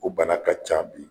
O bana ka ca bi.